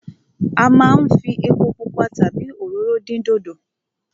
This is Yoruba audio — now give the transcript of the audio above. A máa ń fi epo pupa tàbí òróró dín dòdò.